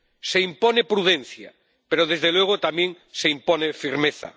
Se impone prudencia pero, desde luego, también se impone firmeza.